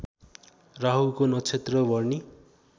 राहुको नक्षत्र भरणी